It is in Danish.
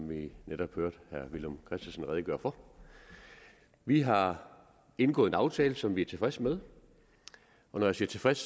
vi netop hørte herre villum christensen redegøre for vi har indgået en aftale som vi er tilfreds med og når jeg siger tilfreds